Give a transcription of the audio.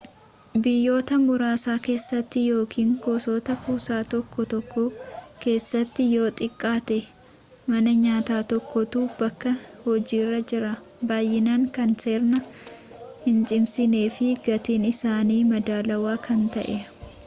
biyyoota muraasa keessatti yookiin gosoota kuusaa tokko tokko keessatti yoo xiqqaate mana nyaata tokkotu bakka hojiirra jira baay'inaan kan seera hincimsineefi gatiin isaanii madaalawaa kan ta'e